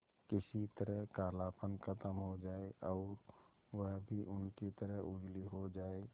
किसी तरह कालापन खत्म हो जाए और वह भी उनकी तरह उजली हो जाय